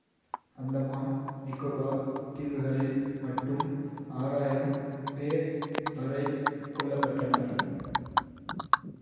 அந்தமான் நிக்கோபார் தீவுகளில் மட்டும் ஆறாயிரம் பேர் வரை கொல்ல பட்டனர்